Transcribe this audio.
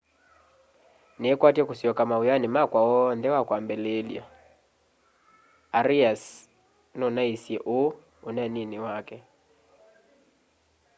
niikwatya kusyoka mawiani makwa oonthe wakwambililya arias nunaisye uu uneenini wake